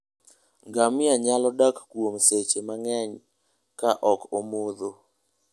Ngamia nyalo dak kuom seche mang'eny ka ok omodho.